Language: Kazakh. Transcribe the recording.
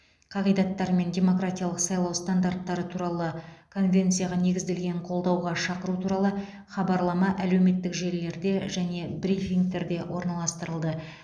қағидаттары мен демократиялық сайлау стандарттары туралы конвенцияға негізделген қолдауға шақыру туралы хабарлама әлеуметтік желілерде және брифингтерде орналастырылды